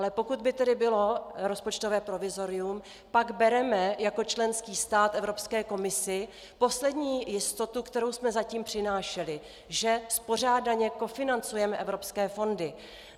Ale pokud by tedy bylo rozpočtové provizorium, pak bereme jako členský stát Evropské komisi poslední jistotu, kterou jsme zatím přinášeli - že spořádaně kofinancujeme evropské fondy.